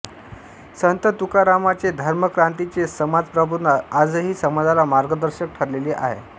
संत तुकारामांचे धर्मक्रांतीचे समाज प्रबोधन आजही समाजाला मार्गदर्शक ठरलेले आहे